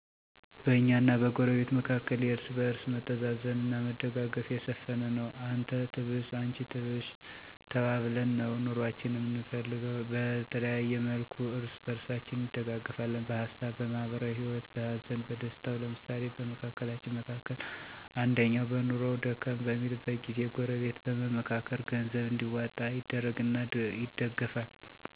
በእኛና በጎረቤት መካከል የእርስ በርስ መተዛዘን አና መደጋገፍ የሰፈነ ነው። አንተ ትብስ አንቺ ትብሽ ተባብለን ነው ኑኖአችን አምንገፈው። በተለያየ መልኩ እርስ በርሳችን እንደጋገፍለን በሀሳብ፣ በማህበራዊ ሂወት፣ በሀዘን በደስታው። ለምሳሌ በመካከላችን መካከል አንደኛው በኑኖው ደከም በሚልበት ጊዜ ጎረበት በመምካከር ገንዘብ እንዲዋጣ ይደረግና ይደገፍል። እንዲሁም ሀዘን በሚያጋጥምበት ጊዜና ወቅት ጎረቤት ሀዘን ለደረሰበት ወይም ለተጎዱ የቅርብ ቤተሰቦች ድጋፍ እና እንክብካቤ ይደረጋል። እንዲሁም መቸም ሰውነን አና ግጭት በመሀላችን በሚፈጠርበት ወቅት ሽማግሌወች በነገሩ ገብተው ሽምግልና አድርገው እርቅ እንዲፈጠር ይደረጋል።